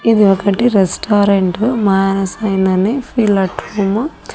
ఇది ఒకటి restaurant Manasa Inn అని ఫీల్ ఎట్ హోము --